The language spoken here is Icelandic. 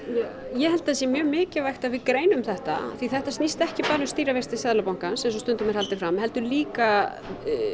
ég held að það sé mjög mikilvægt að við greinum þetta því þetta snýst ekki bara um stýrivexti Seðlabankans eins og stundum er haldið fram heldur líka